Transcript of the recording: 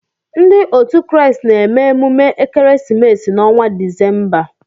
Ndị otu Kraịst na-eme emume ekeresimesi n'ọnwa Disemba.